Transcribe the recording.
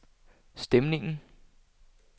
stemningen